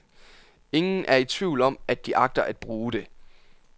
Ingen er i tvivl om, at de agter at bruge det.